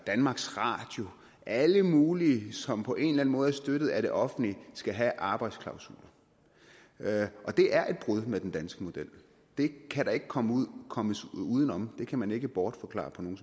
danmarks radio og alle mulige som på en eller anden måde er støttet af det offentlige skal have arbejdsklausuler og det er et brud med den danske model det kan man ikke komme komme uden om det kan man ikke bortforklare på nogen